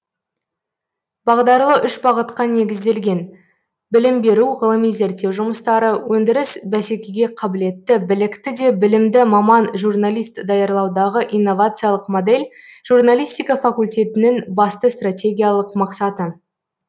бағдарлы үш бағытқа негізделген білім беру ғылыми зерттеу жұмыстары өндіріс бәсекеге қабілетті білікті де білімді маман журналист даярлаудағы инновациялық модель журналистика факультетінің басты стратегиялық мақсаты